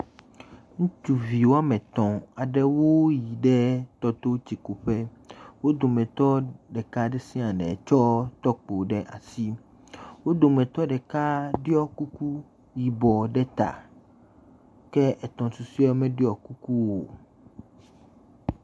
Ŋutsuvi wo ame etɔ̃ aɖewo yi ɖe tɔ to tsi ku ƒe. W o dometɔ ɖeka ɖe sia ɖe tsɔ tɔkpo ɖe asi. Wo dometɔ ɖeka ɖiɔ kuku yibɔ ɖe ta. Ke etɔ̃ susuewo meɖiɔ kuku o.